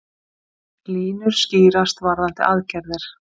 Línur skýrast varðandi aðgerðir